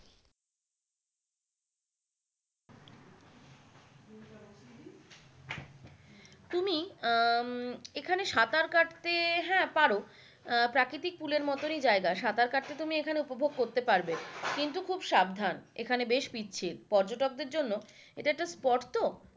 আহ উম এখানে সাঁতার কাটতে আহ হ্যাঁ পারো আহ প্রাকৃতিক পুলের মতনই জায়গা, সাঁতার কাটতে তুমি এখানে উপভোগ করতে পারবে কিন্তু খুব সাবধান এখানে বেশ পিচ্ছিল পর্যটকদের জন্য এটা একটা spote তো